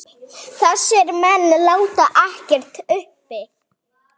Þessir menn láti ekkert uppi.